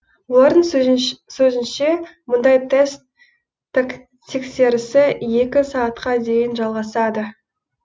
олардың сөзінше мұндай тест тексерісі екі сағатқа дейін жалғасады